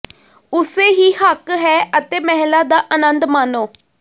ਉਸੇ ਹੀ ਹੱਕ ਹੈ ਅਤੇ ਮਹਿਲਾ ਦਾ ਆਨੰਦ ਮਾਣੋ